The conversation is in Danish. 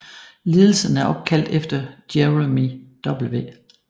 Lidelsen er opkaldt efter Jerome W